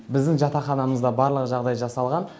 біздің жатақханамызда барлық жағдай жасалған